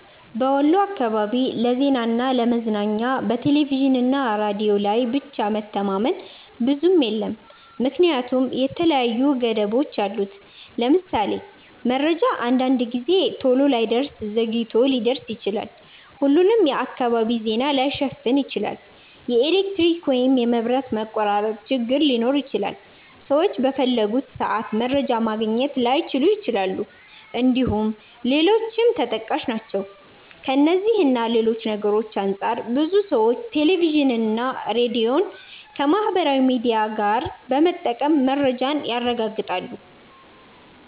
በወሎ አካባቢ ለዜናና ለ ለመዝናኛ በቴሌቪዥንና ሬዲዮ ላይ ብቻ መተማመን ብዙም የለም ምክንያቱም የተለያዩ ገደቦች አሉት። ለምሳሌ:- መረጃ አንዳንድ ጊዜ ቶሎ ላይደርስ ዘግይቶ ሊደርስ ይችላል፣፣ ሁሉንም የአካባቢ ዜና ላይሸፍን ይችላል፣ የኤሌክትሪክ ወይም የመብራት መቆራረጥ ችግር ሊኖር ይችላል፣ ሰዎች በፈለጉት ሰአት መረጃ ማግኘት ላይችሉ ይችላል እንድሁም ሌሎችም ተጠቃሽ ናቸው። ከእነዚህ እና ሌሎች ነገርሮች አንፃር ብዙ ሰዎች ቴሌቪዥንና ሬዲዮን ከማህበራዊ ሚዲያ ጋር በመጠቀም መረጃን ያረጋግጣሉ።